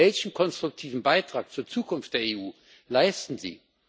Welchen konstruktiven Beitrag zur Zukunft der EU leisten Sie?